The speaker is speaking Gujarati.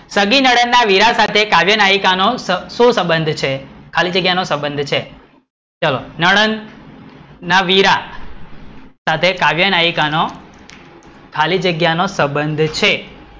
સગી નણંદ ના વીરા સાથે કાવ્યનાયિકા નો શકતો સંબંધ છે ખાલી જગ્યા નો સંબંધ છે ચલો, નણંદ ના વીરા સાથે કાવ્યનાયિકા નો ખાલી જગ્યા નો સંબંધ છે